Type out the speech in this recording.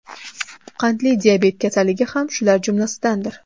Qandli diabet kasalligi ham shular jumlasidandir.